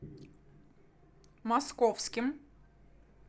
московским